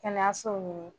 Kɛnɛyasow ɲini